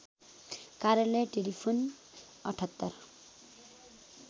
कार्यालय टेलिफोन ७८